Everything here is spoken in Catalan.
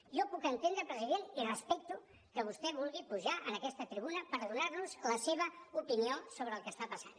jo puc entendre president i respecto que vostè vulgui pujar en aquesta tribuna per donar nos la seva opinió sobre el que està passant